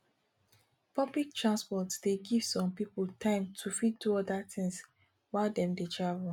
public transport dey give some pipo time to fit do oda things while dem dey travel